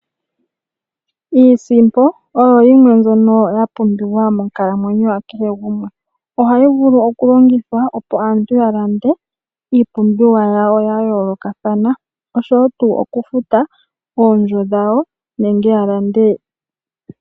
Iisimpo oyo yimwe mbyono yapumbiwa monkalamwenyo yakehe gumwe. Ohayi vulu okulongithwa opo aantu yalande iipumbiwa yawo ya yoolokathana nokufuta oondjo dhawo nenge ya lande.